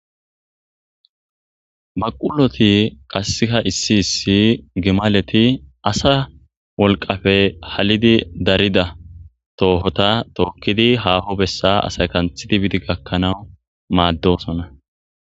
baquloti qassiha issi issi gimaleti asa wolqafe halidi darida toohota tookkidi haaho bessa asay kanthidi bidi gakkanawu maaddosona